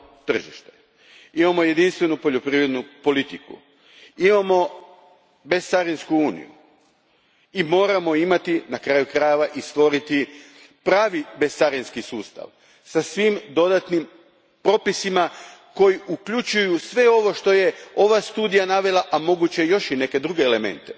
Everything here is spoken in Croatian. tržište, imamo jedinstvenu poljoprivrednu politiku, imamo bescarinsku uniju i moramo imati i stvoriti pravi bescarinski sustav sa svim dodatnim propisima koji uključuju sve ovo što je ova studija navela, a po mogućnosti još i neke druge elemente